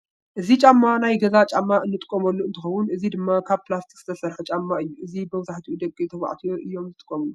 እዚ ጫማ ናይ ገዛ ጫማ እንጥቀመሉ እንተከውን እዚ ድማ ካብ ፕላስቲክ ዝተሰርሓ ጨማ እዩ። እዚ መብዛሕትኡ ደቂ ተባዕትዮ እዮም ዝጥቀምሉ ።